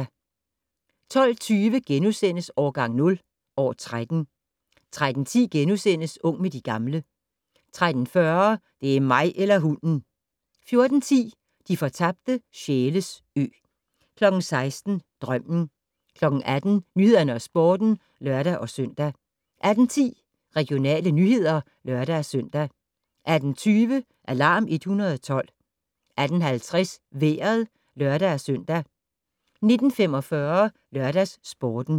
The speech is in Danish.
12:20: Årgang 0 - år 13 * 13:10: Ung med de gamle * 13:40: Det er mig eller hunden! 14:10: De fortabte sjæles ø 16:00: Drømmen 18:00: Nyhederne og Sporten (lør-søn) 18:10: Regionale nyheder (lør-søn) 18:20: Alarm 112 18:50: Vejret (lør-søn) 19:45: LørdagsSporten